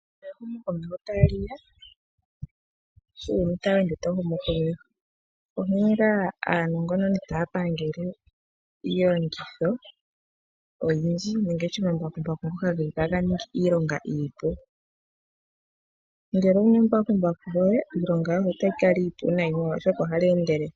Ehumo komeho tali ya, uuyuni shoka tawu ende tawu humu komeho, onkee nga aanongononi taya pangele iiyenditho oyindji ngashi omambakumbaku ngoka geli taga ningi iilonga iipu, ngele owuna embakumbaku lyoye nena iilonga yoye otayi kala iipu nayi oshoka ohali endelele.